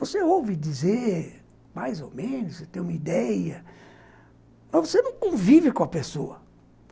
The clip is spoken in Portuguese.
Você ouve dizer, mais ou menos, você tem uma ideia, mas você não convive com a pessoa.